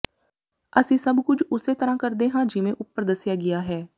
ਅਸੀਂ ਸਭ ਕੁਝ ਉਸੇ ਤਰ੍ਹਾਂ ਕਰਦੇ ਹਾਂ ਜਿਵੇਂ ਉੱਪਰ ਦੱਸਿਆ ਗਿਆ ਹੈ